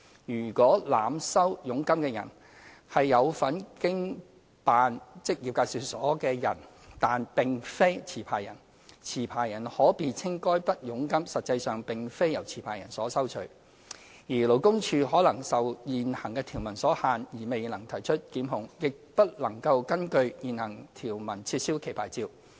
如濫收佣金的人是有份經辦職業介紹所的人但並非持牌人，持牌人可辯稱該筆佣金實際上並非由持牌人收取，而勞工處可能受現行條文所限未能提出檢控，亦不能根據現行條文撤銷其牌照。